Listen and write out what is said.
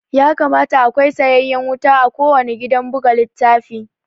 Ya kamata akwai sayayyen wuta a kuwanna gidan buga littafi